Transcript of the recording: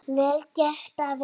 Vel gert, afi.